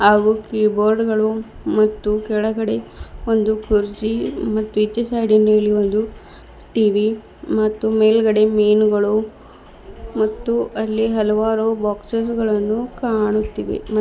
ಹಾಗೂ ಕೀಬೋರ್ಡ್ ಗಳು ಮತ್ತು ಕೆಳಗಡೆ ಒಂದು ಕುರ್ಚಿ ಮತ್ತು ಇಚೇ ಸೈಡ್ ನಲ್ಲಿ ಒಂದು ಟಿ_ವಿ ಮತ್ತು ಮೇಲ್ಗಡೆ ಮೀನುಗಳು ಮತ್ತು ಅಲ್ಲಿ ಹಲವಾರು ಬಾಕ್ಸೆಸ್ ಗಳನ್ನು ಕಾಣುತ್ತಿವೆ ಮ--